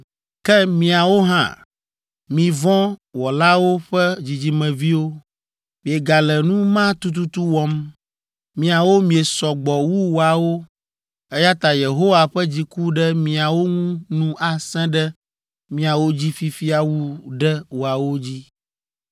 “Ke miawo hã, mi vɔ̃ wɔlawo ƒe dzidzimeviwo, miegale nu ma tututu wɔm! Miawo miesɔ gbɔ wu woawo, eya ta Yehowa ƒe dziku ɖe miawo ŋu nu asẽ ɖe miawo dzi fifia wu ɖe woawo dzi.